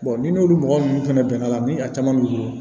ni n'olu mɔgɔ ninnu fana bɛnna ni a caman b'u bolo